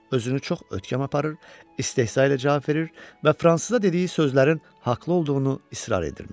Özünü çox ötkəm aparır, istehza ilə cavab verir və fransıza dediyi sözlərin haqlı olduğunu israr edirmiş.